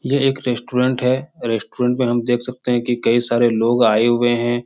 यह एक रेस्टोरेन्ट है । रेस्टोरेन्ट मे हम देख सकते हैं कि कई सारे लोग आये हुए हैं ।